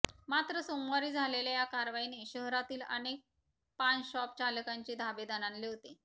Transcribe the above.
मात्र सोमवारी झालेल्या या कारवाईने शहरातील अनेक पानशॉपचालकांचे धाबे दणाणले होते